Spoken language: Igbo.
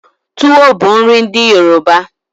Tuwo bu nri ndi Yoruba